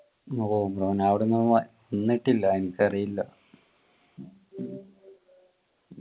ഓ മോൻ അവിടെന്ന് വന്നിട്ടില്ല എനിക്കറിയില്ല